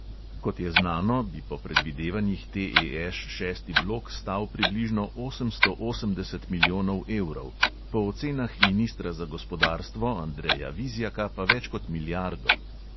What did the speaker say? Kot je znano, bi po predvidevanjih TEŠ šesti blok stal približno osemsto osemdeset milijonov evrov, po ocenah ministra za gospodarstvo andreja vizjaka pa več kot milijardo.